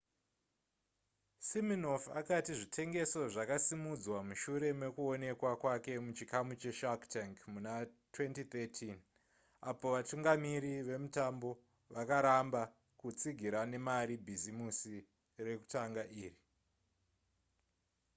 siminoff akati zvitengeso zvakasimudzwa mushure mekuonekwa kwake muchikamu che shark tank muna2013 apo vatungamiri vemutambo vakaramba kutsigira nemari bhisimusi rekutanga iri